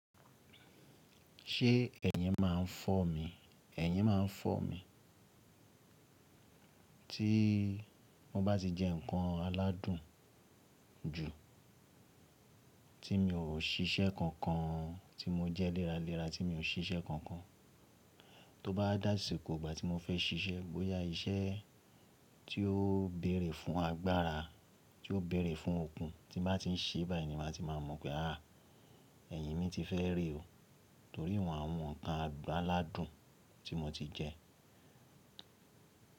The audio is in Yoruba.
Ṣé ẹ̀yin máa ń fọ́ mi? Ẹ̀yin máa ń fọ́ mi. Tí mo bá ti jẹ nǹkan aládùn ju, tí mi ò ṣiṣẹ́ kankan, tí mo jẹ léraléra tí mi ò ṣiṣẹ́ kankan, tó bá dàsìkò gbà tí mo fẹ́ ṣiṣẹ́, bóyá iṣẹ́ tí ó bẹ̀rẹ̀ fún agbára, tí ó bẹ̀rẹ̀ fún okun, tí n bá ti ń ṣe báyìí ni màá ti maa mọ̀ pé àá ẹ̀yin mi ti fẹ́ re o. Torí won àwọn nǹkan adun, aládùn tí mo ti jẹ.